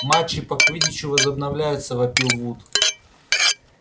матчи по квиддичу возобновляются вопил вуд